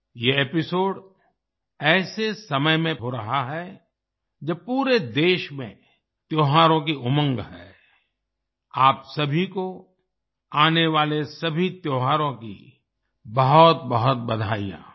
ये एपिसोड ऐसे समय में हो रहा है जब पूरे देश में त्योहारों की उमंग है आप सभी को आने वाले सभी त्योहारों की बहुतबहुत बधाईयाँ